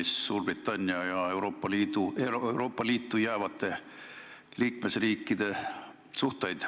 See puudutab ju tugevalt Suurbritannia ja Euroopa Liitu jäävate riikide suhteid.